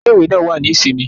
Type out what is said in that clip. Ile-iwe naa wa ni isinmi.